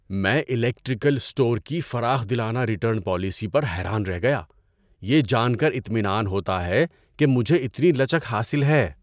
میں electrical store کی فراخ دلانہ ریٹرن پالیسی پر حیران رہ گیا۔ یہ جان کر اطمنان ہوتا ہے کہ مجھے اتنی لچک حاصل ہے۔